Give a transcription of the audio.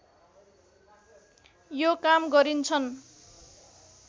यो काम गरिन्छन्